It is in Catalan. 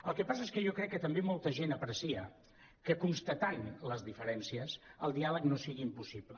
el que passa és que jo crec que també molta gent aprecia que constatant les diferències el diàleg no sigui impossible